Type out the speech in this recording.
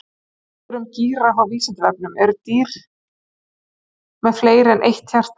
Fleiri svör um gíraffa á Vísindavefnum: Eru til dýr með fleiri en eitt hjarta?